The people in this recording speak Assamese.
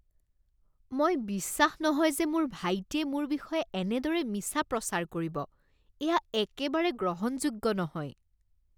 মই বিশ্বাস নহয় যে মোৰ ভাইটিয়ে মোৰ বিষয়ে এনেদৰে মিছা প্ৰচাৰ কৰিব। এয়া একেবাৰে গ্ৰহণযোগ্য নহয়।